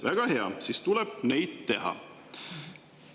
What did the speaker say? Väga hea, siis tuleb neid teha.